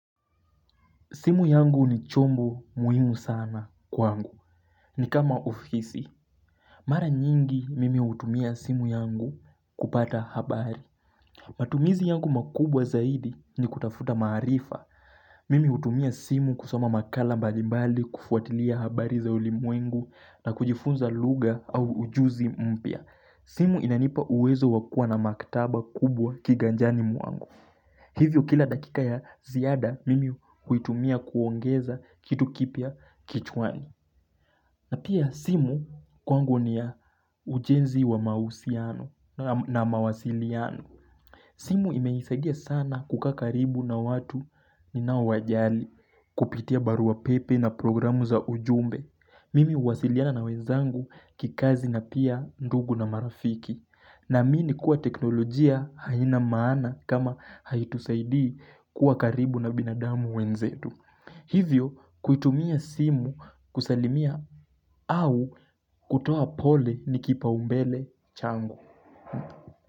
Simu yangu ni chombo muhimu sana kwangu. Ni kama ofisi. Mara nyingi mimi utumia simu yangu kupata habari. Matumizi yangu makubwa zaidi ni kutafuta maarifa. Mimi utumia simu kusoma makala mbalimbali kufuatilia habari za ulimwengu na kujifunza luga au ujuzi mpia. Simu inanipa uwezo wakua na maktaba kubwa kiganjani muangu. Hivyo kila dakika ya ziyada mimi kuitumia kuongeza kitu kipia kichwani. Na pia simu kwangu ni ya ujenzi wa mausiano na mawasiliano. Simu imeisaidia sana kukakaribu na watu ni na wajali kupitia barua pepe na programu za ujumbe. Mimi uwasiliana na wezangu kikazi na pia ndugu na marafiki. Na amini kuwa teknolojia haina maana kama haitusaidii kuwa karibu na binadamu wenzetu. Hivyo kuitumia simu kusalimia au kutoa pole nikipa umbele chango.